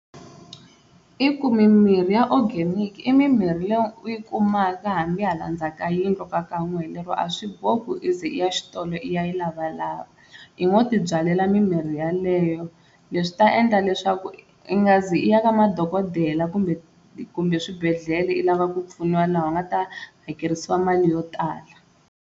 I ku mimirhi ya organic i mimirhi leyi u yi kumaka hambi hala ndzaku ka yindlu ka ka n'wehe, lero a swi bohi ku i ze ya xitolo i ya yi lavalava i ngo ti byalela mimirhi yeleyo leswi ta endla leswaku i nga zi i ya ka madokodela kumbe kumbe swibedhlele i lava ku pfuniwa laha u nga ta hakerisiwa mali yo tala.